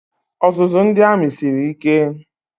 Ọzụzụ ndị amị siri ike.